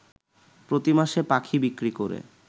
প্রতিমাসে পাখি বিক্রি করে